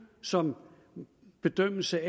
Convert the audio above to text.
som bedømmelse